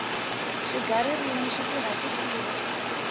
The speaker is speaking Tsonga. swiga ririmi swi tirha ku siva